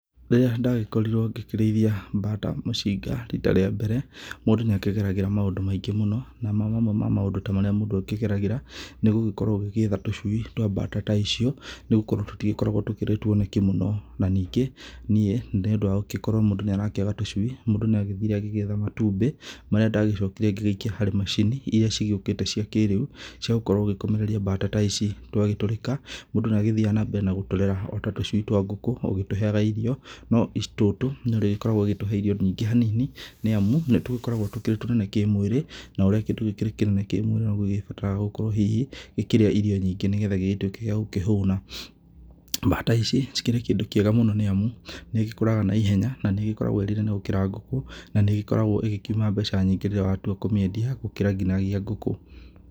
Rĩrĩa ndagĩkorirwo ngĩkĩrĩithia mbata mũcinga rita rĩa mbere, mũndũ nĩ akĩgeragĩra maũndũ maingĩ mũno na mamamwe ma maũndũ ta marĩa mũndũ akĩgeragĩra. Nĩ gũgĩkorwo ũgĩgĩetha tũcui twa mbata ta icio, nĩ gũkorwo tũtigĩkoragwo tũkĩrĩ tuoneki mũno. Na ningĩ niĩ nĩ ũndũ wa gũkorwo mũndũ nĩ arakĩaga tũcui, mũndũ nĩ agĩthire agĩgĩetha matumbĩ marĩa ndagĩcokire ngĩgĩikia harĩ macini iria cigĩũkĩte cia kĩrĩu cia gũkorwo ũgĩkomereria mbata ta ici. Twagĩtũrĩka mũndũ nĩ agĩthiaga na mbere na gũtũrera o ta tũcui twa ngũkũ o ũgĩtũheaga irio. No tũtũ nĩ ũrĩkoragwo ũgĩtũhe irio nyingĩ hanini nĩ amu nĩ tũkoragwo tũkĩrĩ tũnene kĩmwĩrĩ. Na ũrĩa kĩndũ gĩkĩrĩ kĩnene kĩmwĩrĩ noguo gĩgĩbataraga gũgĩkorwo hihi gĩkĩrĩa irio nyingĩ nĩ getha gĩgĩtuĩke gĩa gũkĩhũna. Mbata ici cikĩrĩ kĩndũ kĩega mũno nĩ amu nĩ igĩkũraga na ihenya na nĩ ĩgĩkoragwo ĩrĩ nene gũkĩra ngũkũ, na nĩ ĩgĩkoragwo ĩgĩkiuma mbeca nyingĩ rĩrĩa watua kũmĩendia gũkĩra nginagia ngũkũ.